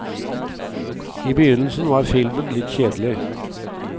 I begynnelsen var filmen er litt kjedelig.